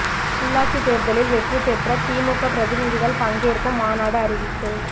உள்ளாட்சித் தேர்தலில் வெற்றி பெற்ற திமுக பிரதிநிதிகள் பங்கேற்கும் மாநாடு அறிவிப்பு